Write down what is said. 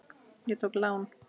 Ég tók lán.